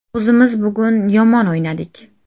O‘zimiz bugun yomon o‘ynadik.